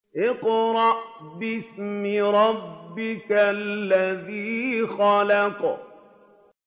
اقْرَأْ بِاسْمِ رَبِّكَ الَّذِي خَلَقَ